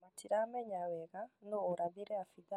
Matiramenya wega nũ ũrathire abithaa